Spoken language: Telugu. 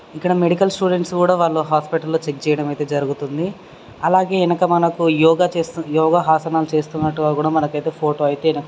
ఇక్కడ మెడికల్ స్టూడెంట్స్ కుడ వల్లూ హాస్పిటల్ లో చెక్ చేయడం అయితే జరుగుతుంది అలాగే యెనక మనకు యోగా చేస్తున్న యోగా హసనాలు చేస్తున్నట్టుగా కూడా మనకైతే ఫోటో అయితే --